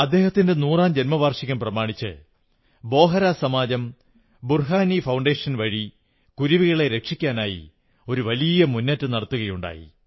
അദ്ദേഹത്തിന്റെ നൂറാം ജന്മവാർഷികം പ്രമാണിച്ച് ബോഹരാ സമാജം ബുർഹാനി ഫൌണ്ടേഷൻ മുഖേന കുരുവികളെ രക്ഷിക്കാനായി ഒരു വലിയ മുന്നേറ്റം നടത്തുകയുണ്ടായി